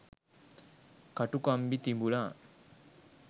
කටුකම්බි තිබුණා.